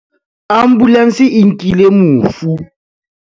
ambulanse e nkile mofu